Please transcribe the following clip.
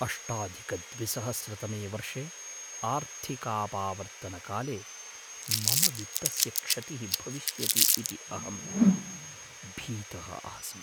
अष्टाधिकद्विसहस्रतमे वर्षे आर्थिकापावर्त्तनकाले मम वित्तस्य क्षतिः भविष्यति इति अहं भीतः आसम्।